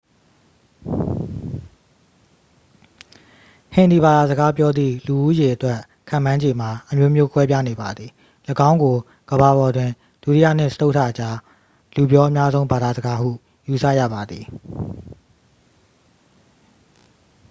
ဟင်ဒီဘာသာစကားပြောသည့် လူဦးရေအတွက် ခန့်မှန်းခြေမှာ အမျိုးမျိုးကွဲပြားနေပါသည ၎င်းကို ကမ္ဘာပေါ်တွင် ဒုတိယနှင့် စတုတ္ထကြား လူပြောအများဆုံး ဘာသာစကားဟု ယူဆရပါသည်